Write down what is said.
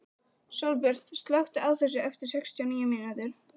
Sólbjört, slökktu á þessu eftir sextíu og níu mínútur.